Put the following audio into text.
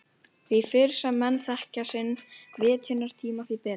Því fyrr sem menn þekkja sinn vitjunartíma því betra.